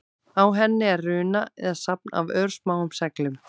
Á henni er runa eða safn af örsmáum seglum.